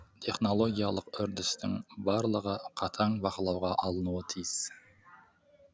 технологиялық үрдістің барлығы қатаң бақылауға алынуы тиіс